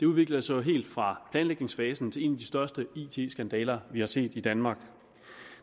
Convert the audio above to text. udviklede sig jo helt fra planlægningsfasen til en af de største it skandaler vi har set i danmark